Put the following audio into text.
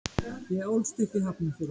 Ég ólst upp í Hafnarfirði.